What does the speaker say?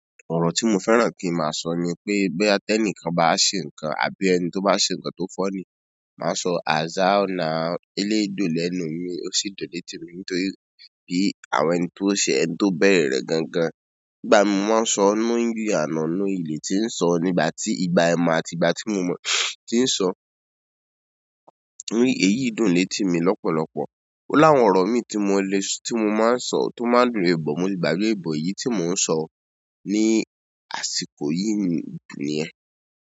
Ọ̀rọ̀ tí mo fẹ́ràn kí n máa sọ ni pé bóyá tí ẹnìkan bá ṣe nǹkan, àbí ẹni tó bá ṣe nǹkan tó fọ́ní, máa sọ "as how now" "eléyìí dùn lẹ́nu mi, ó sì dùn létì mi." Nítorí kí àwọn ẹni tó ṣẹ̀ ẹ́ tó bẹ̀rè rẹ̀ gangan. Nígbà mí mo máa ń sọ knowingly and unknowingly ti ń sọ, nígbà tí ìgbà àìmọ̀, àti ìgbà tí mo mọ̀ ti ń sọ, eyì dùn létì mi lọ́pọ̀lọpọ̀. Ó láwọn ọ̀rọ̀ mi tí mo lé, tí mo máa ń sọ, tó máa ń dùn bọ̀. Mo lè gbàgbẹ́ ẹ̀ bọ̀ èyí tí mò ń sọ ní àsìkò yìí jù nìyẹn.